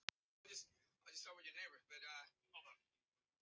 Sú gáta var reyndar enn óráðin hvort barnið ætti föður.